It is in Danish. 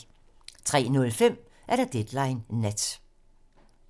03:05: Deadline nat